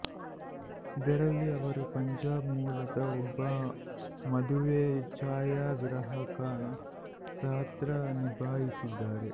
ಇದರಲ್ಲಿ ಅವರು ಪಂಜಾಬ್ ಮೂಲದ ಒಬ್ಬ ಮದುವೆ ಛಾಯಾಗ್ರಾಹಕನ ಪಾತ್ರ ನಿಭಾಯಿಸಿದ್ದಾರೆ